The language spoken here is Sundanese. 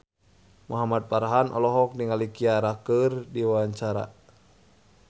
Muhamad Farhan olohok ningali Ciara keur diwawancara